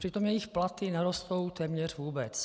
Přitom jejich platy nerostou téměř vůbec.